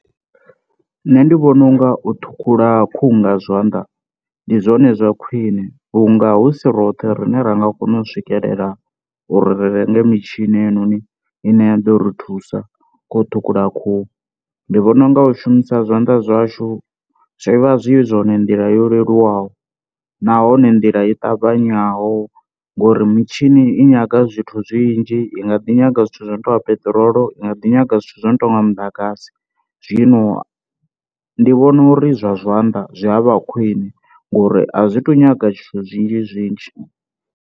Nṋe ndi vhona u nga u thukhula khuhu nga zwanḓa ndi zwone zwa khwine vhunga hu si roṱhe rine ra nga kona u swikelela uri ri renge mitshini heinoni ine ya ḓo ri thusa kha u ṱhukhula khuhu, ndi vhona u nga u shumisa zwanḓa zwashu zwi vha zwi zwone nḓila yo leluwaho nahone nḓila i ṱavhanyaho, ngori mitshini i nyaga zwithu zwinzhi i nga ḓi nyaga zwithu zwo no tonga peṱirolo i nga ḓi nyaga zwithu zwo no tonga muḓagasi, zwino ndi vhona uri zwa zwanḓa zwi a vha khwine ngori a zwi to nyaga zwithu zwinzhi zwinzhi.